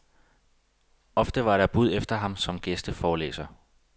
Ofte var der bud efter ham som gæsteforelæser.